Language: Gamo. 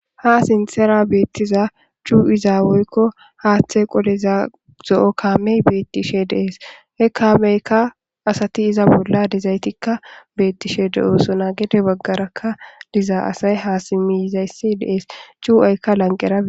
ha sinsera beettiza cu'izaa woykko haaththe qoleza zo7o kaamey beettishe dees he kaameykka asati iza bolla dezaytikka beettishe de7oosona gede baggarakka diza asay haasimizayssi dees cuu7aykka lanqerae